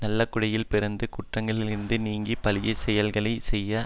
நல்லகுடியில் பிறந்து குற்றங்களிலிருந்து நீங்கி பழியாச் செயல்களை செய்ய